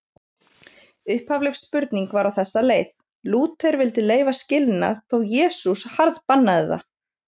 Upphafleg spurning var á þessa leið: Lúther vildi leyfa skilnað þó Jesús harðbannaði það.